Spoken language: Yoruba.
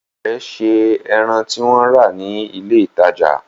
Ìyá rẹ̀ se ẹran tí wọ́n rà ní ilé-ìtajà?